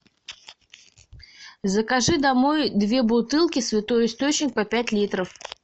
закажи домой две бутылки святой источник по пять литров